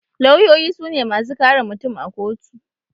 Lawyoyi sune masu kare mutum a kotu